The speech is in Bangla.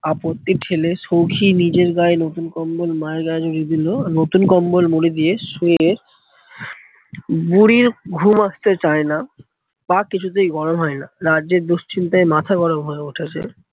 আপত্তি ফেলে সৌখী নীজের গায়ে নতুন কম্বল মায়ের গায়ে জড়িয়ে দিলো। নতুন কম্বল দিয়ে শুয়ে বুড়ির ঘুম আস্তে চায়না, পা কিছুতেই গরম হতে চায়না। রাজ্যের দুশ্চিন্তায় মাথা গরম হয়ে উঠেছে।